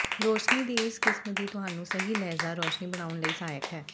ਰੋਸ਼ਨੀ ਦੀ ਇਸ ਕਿਸਮ ਦੀ ਤੁਹਾਨੂੰ ਸਹੀ ਲਹਿਜ਼ਾ ਰੋਸ਼ਨੀ ਬਣਾਉਣ ਲਈ ਸਹਾਇਕ ਹੈ